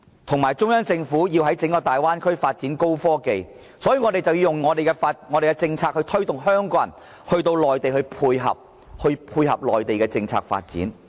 由於中央政府要在整個大灣區發展高科技產業，所以我們便要以我們的政策推動香港人到內地，配合其政策發展。